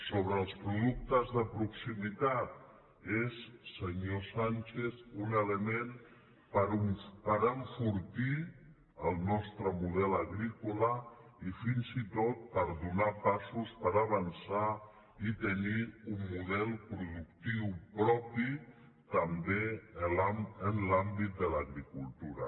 sobre els productes de proximitat és senyor sánchez un element per enfortir el nostre model agrícola i fins i tot per donar passos per avançar i tenir un model pro·ductiu propi també en l’àmbit de l’agricultura